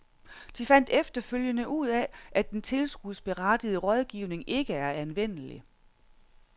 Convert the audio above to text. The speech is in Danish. De fandt efterfølgende ud af, at den tilskudsberettigede rådgivning ikke er anvendelig.